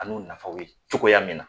A n'u nafaw ye cogoya min na